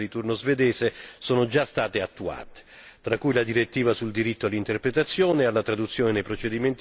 Alcune delle misure previste dalla tabella di marcia fissata durante la Presidenza di turno svedese sono già state attuate.